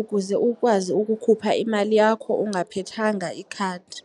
ukuze ukwazi ukukhupha imali yakho ungaphethanga ikhadi.